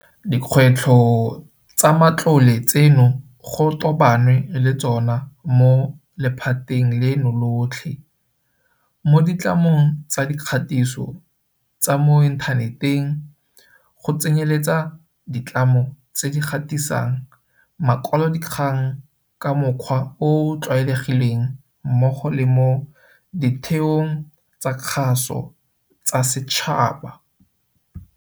Dikgwetlho tsa matlole tseno go tobanwe le tsona mo lephateng leno lotlhe, mo ditlamong tsa dikgatiso tsa mo inthaneteng go tsenyeletsa ditlamo tse di gatisang makwalodikgang ka mokgwa o o tlwaelegileng mmogo le mo ditheong tsa kgaso tsa setšhaba.